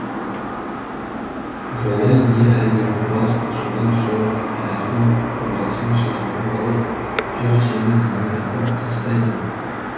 жолай не әлдебір бас қосудан соң әлгі құрдасын шақырып алып жүр сені үйіңе апарып тастайын